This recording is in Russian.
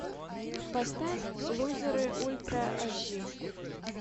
поставь лузеры ультра аш ди